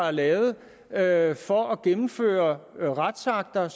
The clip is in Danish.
er lavet lavet for at gennemføre retsakter